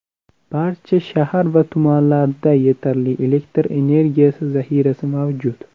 Barcha shahar va tumanlarda yetarli elektr energiyasi zahirasi mavjud.